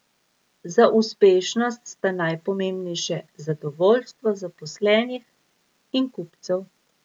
Za uspešnost sta najpomembnejše zadovoljstvo zaposlenih in kupcev.